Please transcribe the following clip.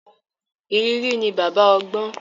Ìrírí ni baba ọgbọ́n.